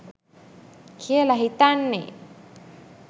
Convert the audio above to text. කියල හිතෙන්නෙ.